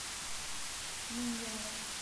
миньяра